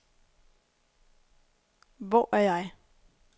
Hvor er jeg